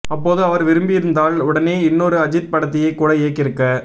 அப்போது அவர் விரும்பியிருந்தால் உடனே இன்னொரு அஜீத் படத்தையே கூட இயக்கியிருக்க